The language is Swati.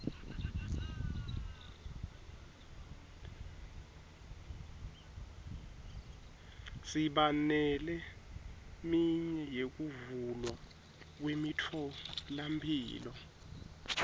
siba neleminye yekuvulwa kwemitfolamphilo